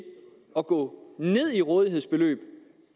at gå ned i rådighedsbeløb